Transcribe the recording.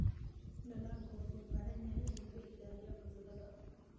Dalaggu wuxuu u baahan yahay in laga ilaaliyo cudurrada.